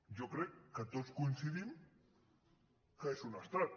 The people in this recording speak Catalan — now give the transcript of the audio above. jo crec que tots coincidim que és un estat